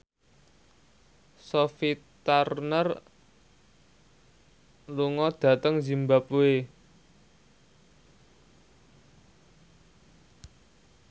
Sophie Turner lunga dhateng zimbabwe